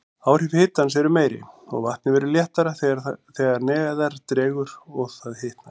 Áhrif hitans eru meiri, og vatnið verður léttara þegar neðar dregur og það hitnar.